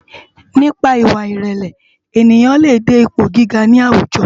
Nipá iwá irèlè éniyán lé dé ipó gigá ni áwújò